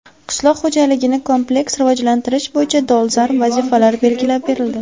Qishloq xo‘jaligini kompleks rivojlantirish bo‘yicha dolzarb vazifalar belgilab berildi.